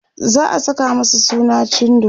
za'a Saka masa suna cindo